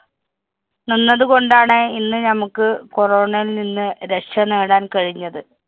നിന്നതുകൊണ്ടാണ്‌ ഇന്ന് നമുക്ക് corona യില്‍ നിന്ന് രക്ഷ നേടാന്‍ കഴിഞ്ഞത്.